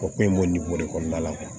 O ko in b'o de kɔnɔna la